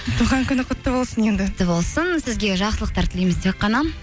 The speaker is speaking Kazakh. туған күні құтты болсын енді құтты болсын сізге жақсылықтар тілейміз тек қана